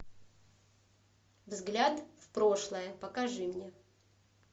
взгляд в прошлое покажи мне